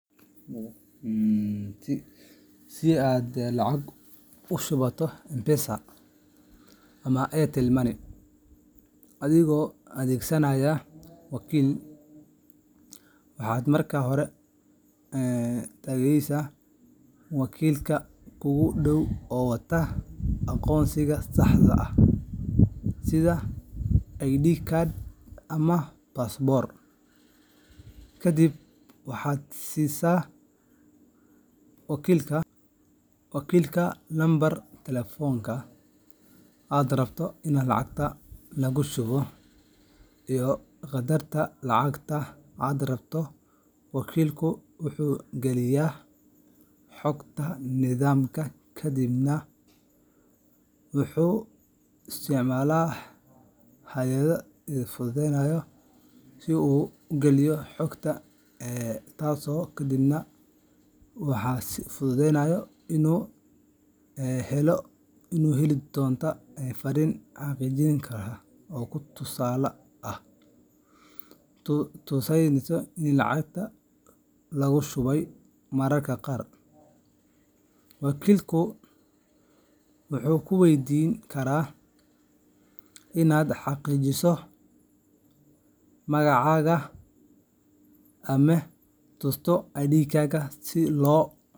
Si aad lacag ugu shubato M-Pesa ama Airtel Money adigoo adeegsanaya wakiil, waxaad marka hore tagaysaa wakiilka kuugu dhow oo wata aqoonsigaaga saxda ah sida ID card ama baasaboor, kadib waxaad siisaa wakiilka nambarka taleefanka aad rabto in lacagta loogu shubo iyo qadarka lacagta aad rabto. Wakiilku wuxuu geliyaa xogta nidaamka kadibna waxaad heli doontaa fariin xaqiijin ah oo ku tusaysa in lacagta laguu shubay. Mararka qaar, wakiilku wuu ku weydiin karaa inaad xaqiijiso magacaaga ama tusto ID-gaaga si loo